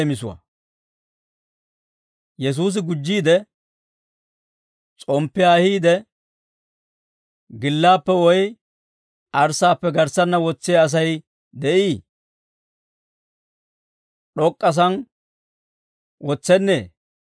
Yesuusi gujjiide, «S'omppiyaa ahiide, gillaappe woy arssaappe garssanna wotsiyaa Asay de'ii? D'ok'k'asaan wotsennee?